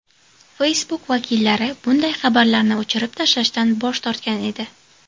Facebook vakillari bunday xabarlarni o‘chirib tashlashdan bosh tortgan edi.